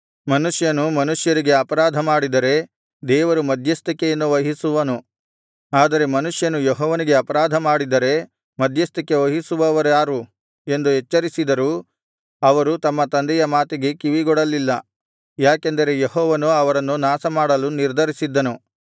ಮನುಷ್ಯನು ಮನುಷ್ಯರಿಗೆ ಅಪರಾಧಮಾಡಿದರೆ ದೇವರು ಮಧ್ಯಸ್ಥಿಕೆಯನ್ನು ವಹಿಸುವನು ಆದರೆ ಮನುಷ್ಯನು ಯೆಹೋವನಿಗೆ ಅಪರಾಧಮಾಡಿದರೆ ಮಧ್ಯಸ್ಥಿಕೆ ವಹಿಸುವವರಾರು ಎಂದು ಎಚ್ಚರಿಸಿದರೂ ಅವರು ತಮ್ಮ ತಂದೆಯ ಮಾತಿಗೆ ಕಿವಿಗೊಡಲಿಲ್ಲ ಯಾಕೆಂದರೆ ಯೆಹೋವನು ಅವರನ್ನು ನಾಶಮಾಡಲು ನಿರ್ಧರಿಸಿದ್ದನು